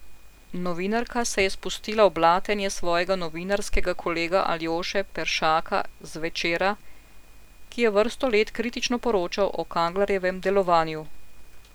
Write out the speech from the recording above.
Novinarka se je spustila v blatenje svojega novinarskega kolega Aljoše Peršaka z Večera, ki je vrsto let kritično poročal o Kanglerjevem delovanju.